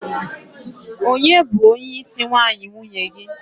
onye bu onye isi nwayi nwunye gi?